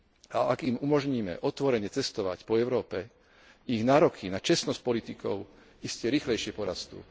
A ak im umožníme otvorene cestovať po Európe, ich nároky na čestnosť politikov iste rýchlejšie porastú.